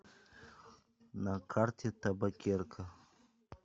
на карте табакерка